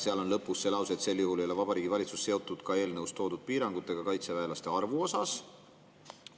Seal on lõpus lause, et sel juhul ei ole Vabariigi Valitsus seotud ka eelnõus toodud piirangutega kaitseväelaste arvu osas.